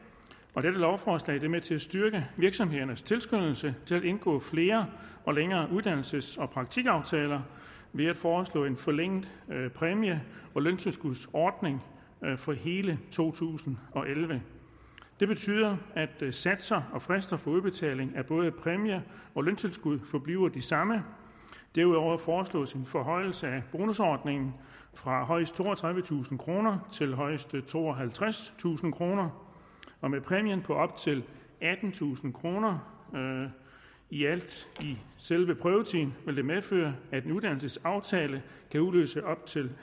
og dette lovforslag er med til at styrke virksomhedernes tilskyndelse til at indgå flere og længere uddannelses og praktikaftaler ved at foreslå en forlænget præmie og løntilskudsordning for hele to tusind og elleve det betyder at satser og frister for udbetaling af både præmie og løntilskud forbliver de samme derudover foreslås en forhøjelse af bonusordningen fra højst toogtredivetusind kroner til højst tooghalvtredstusind kroner og med præmien på op til attentusind kroner i alt i selve prøvetiden vil det medføre at en uddannelsesaftale kan udløse op til